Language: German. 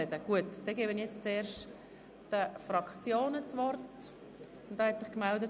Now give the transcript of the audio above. Deshalb gebe ich nun den Fraktionen das Wort.